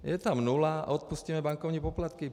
Je tam nula a odpustíme bankovní poplatky.